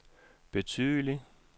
betydelig